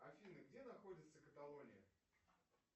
афина где находится каталония